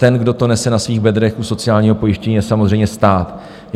Ten, kdo to nese na svých bedrech u sociálního pojištění, je samozřejmě stát.